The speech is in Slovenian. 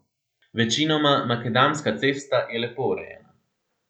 Večinoma makadamska cesta je lepo urejena.